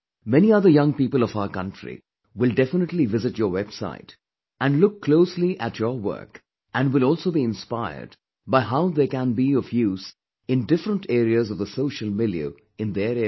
Many other young people of our country will definitely visit your website and look closely at your work and will also be inspired by how they can be of use in different areas of the social milieu in their area